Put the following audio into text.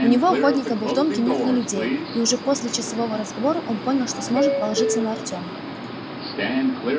у него охотника был тонкий нюх на людей и уже после часового разговора он понял что сможет положиться на артёма